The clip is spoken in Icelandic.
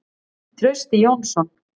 Trausti Jónsson.